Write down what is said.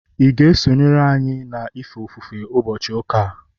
ị ga-eso anyị na-efe ofufe ụbọchị ụka a?